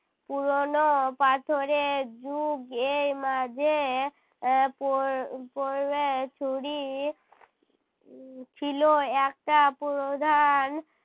পুরোনো পাথরের যুগ এই মাঝে আহ পর ছুরি উহ ছিল একটা প্রধান